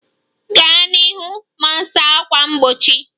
Gaa n'ihu ma saa ákwà mgbochi